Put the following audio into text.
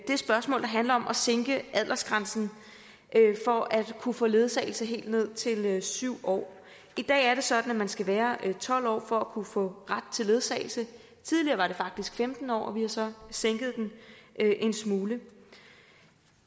spørgsmål der handler om at sænke aldersgrænsen for at kunne få ledsagelse helt ned til syv år i dag er det sådan at man skal være tolv år for at kunne få ret til ledsagelse tidligere var den faktisk femten år vi har så sænket den en smule